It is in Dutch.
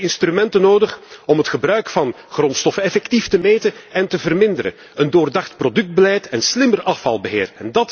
We hebben instrumenten nodig om het gebruik van grondstoffen effectief te meten en te verminderen, een doordacht productbeleid en slimmer afvalbeheer.